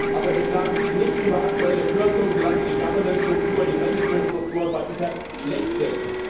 Aber beklagen Sie sich nicht über aktuelle Kürzungen, solange die Governance Strukturen, die Managementstrukturen bei ITER schlecht sind.